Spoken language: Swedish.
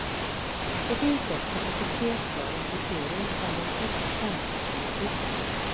Det finns dock kapacitet för en placering bland de sex främsta, vi får se.